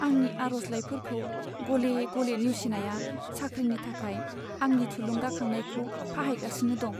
आंनि आर'जलाइफोरखौ गले गले नेवसिनाया साख्रिनि थाखाय आंनि थुलुंगाखांनायखौ फाहायगासिनो दं।